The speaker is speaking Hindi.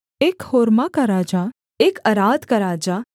एक होर्मा का राजा एक अराद का राजा